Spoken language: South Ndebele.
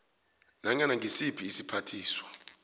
nanyana ngisiphi isiphathiswa